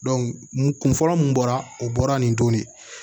kun fɔlɔ mun bɔra o bɔra nin to ne ye